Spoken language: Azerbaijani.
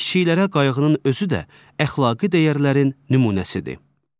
kiçiklərə qayğının özü də əxlaqi dəyərlərin nümunəsidir.